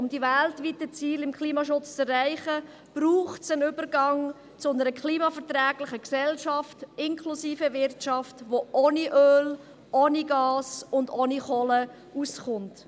Um die weltweiten Ziele im Klimaschutz zu erreichen, braucht es den Übergang zu einer klimaverträglichen Gesellschaft inklusive Wirtschaft, die ohne Öl, Gas und Kohle auskommt.